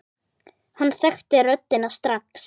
Hann þekkti röddina strax.